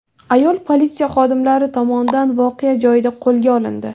Ayol politsiya xodimlari tomonidan voqea joyida qo‘lga olindi.